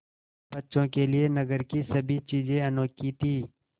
बच्चों के लिए नगर की सभी चीज़ें अनोखी थीं